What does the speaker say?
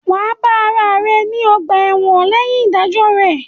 Wà á bá ara rẹ ní ọ̀gbà-ẹ̀wọ̀n lẹ́yìn ìdájọ́ rẹ̀